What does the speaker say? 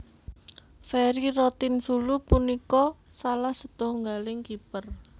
Ferry Rotinsulu punika salah setunggaling kiper